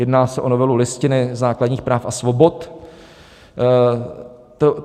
Jedná se o novelu Listiny základních práv a svobod.